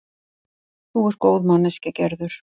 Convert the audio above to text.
Þú ert góð manneskja, Gerður.